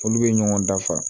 Olu bɛ ɲɔgɔn dafa